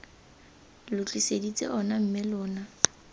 lo tliseditse ona mme lona